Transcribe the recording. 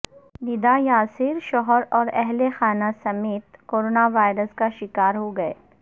ندا یاسر شوہر اوراہلخانہ سمیت کورونا وائرس کا شکار ہو گئیں